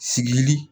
Sigili